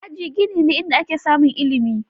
Aji gini ne inda ake samun ilimi.